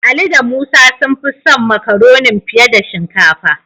Ali da Musa sun fi son Makaronin fiye da shinkafa.